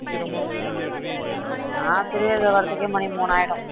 நான் தெரியாதே வர்ற்த்துக்கே, மணி மூணு ஆயிடும்